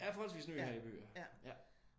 Jeg er forholdsvis ny her i byen ja